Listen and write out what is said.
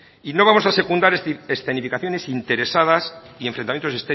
y no vamos a secundar escenificaciones interesadas y enfrentamiento